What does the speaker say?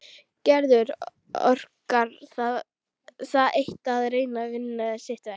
Gerður orkar það eitt að reyna að vinna sitt verk.